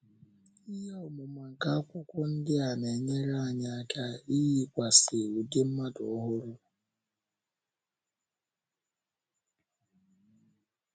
Ihe ọmụma nke akwụkwọ ndi a na - enyere anyị aka iyikwasị ụdị mmadụ ọhụrụ. ’